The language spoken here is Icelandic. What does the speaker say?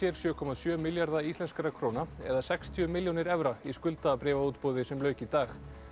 sjö komma sjö milljarða íslenskra króna eða sextíu milljónir evra í skuldabréfaútboði sem lauk í dag